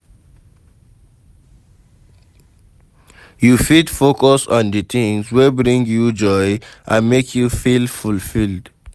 You fit focus on di tings wey bring you joy and make you feel fulfilled.